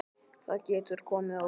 Það getur komið á óvart.